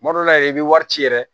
Kuma dɔ la yɛrɛ i bɛ wari ci yɛrɛ